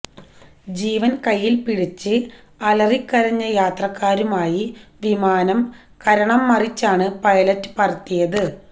ജീവൻ കൈയിൽ പിടിച്ച് അലറിക്കരഞ്ഞ യാത്രക്കാരുമായി വിമാനം കരണം മറിച്ചാണ് പൈലറ്റ് പറത്തിയത്